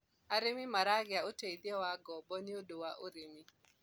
arĩmi maragia uteithio wa ngobo nĩũndũ wa ũrĩmi